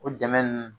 O dɛmɛ ninnu